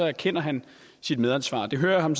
erkender han sit medansvar det hører jeg ham